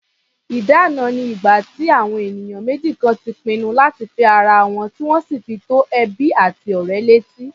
Ìdána ni ìgbà tí àwọn ènìyàn méjì kan ti pinnu láti fẹ́ ara wọn, tí wọ́n sì fi tó ẹbí àti ọ̀rẹ́ létí.